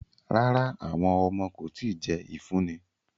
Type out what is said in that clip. Rara, awọn ọmọ ko ti jẹ ifunni